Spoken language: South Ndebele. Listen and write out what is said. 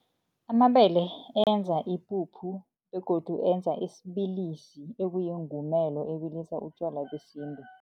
Amabele enza ipuphu begodu enza isibilisi ekuyingumela ebilisa utjwala besintu.